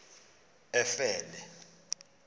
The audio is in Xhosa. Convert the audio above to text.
efele